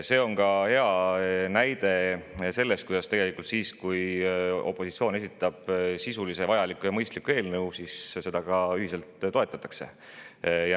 See on ka hea näide selle kohta, kuidas siis, kui opositsioon esitab sisulise, vajaliku ja mõistliku eelnõu, seda ühiselt toetatakse.